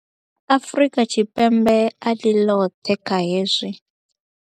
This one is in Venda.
Afrika Tshipembe a ḽi ḽoṱhe kha hezwi.